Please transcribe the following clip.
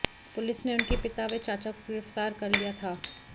police ने उनके पिता व चाचा को गिरफ्तार कर लिया था